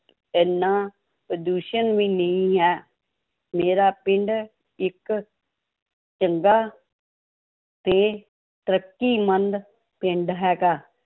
ਇੰਨਾ ਪ੍ਰਦੂਸ਼ਣ ਵੀ ਨਹੀਂ ਹੈ, ਮੇਰਾ ਪਿੰਡ ਇੱਕ ਚੰਗਾ ਤੇ ਤਰੱਕੀਮੰਦ ਪਿੰਡ ਹੈਗਾ।